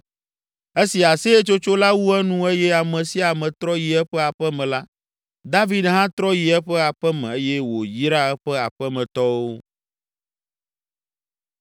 Esi aseyetsotso la wu enu eye ame sia ame trɔ yi eƒe aƒe me la, David hã trɔ yi eƒe aƒe me eye wòyra eƒe aƒemetɔwo.